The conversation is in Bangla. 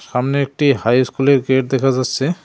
সামনে একটি হাইস্কুলের গেট দেখা যাচ্ছে।